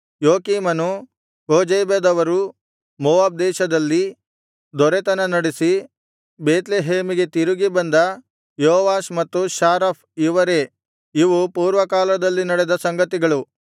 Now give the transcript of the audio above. ಯೊಕೀಮನು ಕೋಜೇಬದವರು ಮೋವಾಬ್ ದೇಶದಲ್ಲಿ ದೊರೆತನ ನಡಿಸಿ ಬೇತ್ಲೆಹೇಮಿಗೆ ತಿರುಗಿ ಬಂದ ಯೋವಾಷ್ ಮತ್ತು ಸಾರಾಫ್ ಇವರೇ ಇವು ಪೂರ್ವಕಾಲದಲ್ಲಿ ನಡೆದ ಸಂಗತಿಗಳು